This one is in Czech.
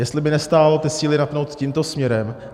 Jestli by nestálo ty síly napnout tímto směrem.